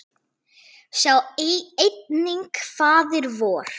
Sjá einnig Faðir vor